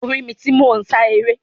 O ri mi ti mo n sá eré.